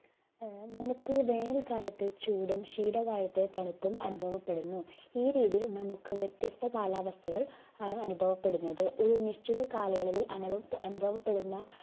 ആഹ് നമുക്ക് വേനൽക്കാലത്ത് ചൂടും ശീതകാലത്തെ തണുപ്പും അനുഭവപ്പെടുന്നു ഈ രീതിയിൽ നമുക്ക് വ്യത്യസ്ഥ കാലാവസ്ഥകൾ ആണ് അനുഭവപ്പെടുന്നത് ഒരു നിശ്ചിതകാലയളവിൽ അനവപ് അനുഭവപ്പെടുന്ന